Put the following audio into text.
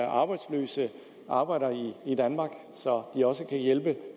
arbejdsløse arbejdere i danmark så de også kan hjælpe